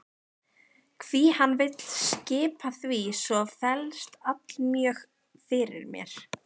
Hví hann vill skipa því svo vefst allmjög fyrir mér.